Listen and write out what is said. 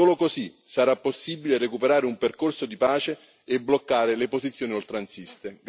Solo così sarà possibile recuperare un percorso di pace e bloccare le posizioni oltranziste.